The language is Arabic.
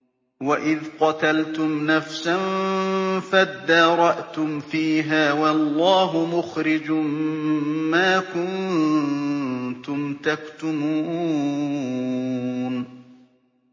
وَإِذْ قَتَلْتُمْ نَفْسًا فَادَّارَأْتُمْ فِيهَا ۖ وَاللَّهُ مُخْرِجٌ مَّا كُنتُمْ تَكْتُمُونَ